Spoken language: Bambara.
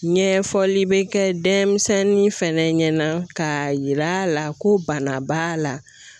Ɲɛfɔli bɛ kɛ denmisɛnnin fɛnɛ ɲɛna ka yira la ko bana b'a la